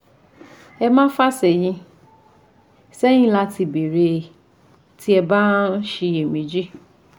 Ẹ má fà sẹ́yìn sẹ́yìn láti béèrè tí ẹ bá ń ṣiyẹ̀méjì